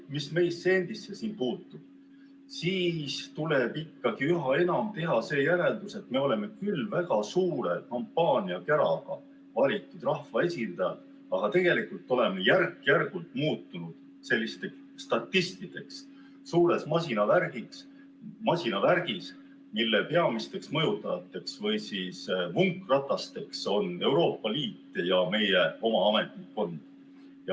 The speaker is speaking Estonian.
Mis meisse endisse puutub, siis tuleb ikkagi üha enam teha see järeldus, et me oleme küll väga suure kampaaniakäraga valitud rahvaesindajad, aga tegelikult oleme järk-järgult muutunud sellisteks statistideks suures masinavärgis, mille peamisteks mõjutajateks või vunkratasteks on Euroopa Liit ja meie oma ametnikkond.